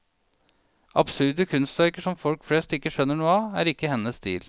Absurde kunstverker som folk flest ikke skjønner noe av, er ikke hennes stil.